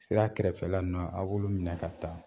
Sira kɛrɛfɛla ninnu a b'olu minɛ ka taa